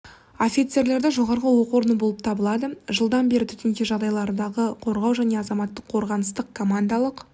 офицерлерді жоғарғы оқу орны болып табылады жылдан бері төтенше жағдайлардағы қорғау және азаматтық қорғаныстың командалық